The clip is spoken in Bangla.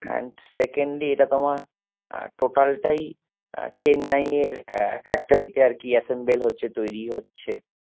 And secondly এটা তোমার total টাই আহ চেন্নাইয়ের factory তে আরকি assemble হচ্ছে তৈরী হচ্ছে